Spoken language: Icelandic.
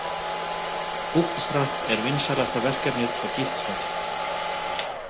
Bootstrap er vinsælasta verkefnið á Github.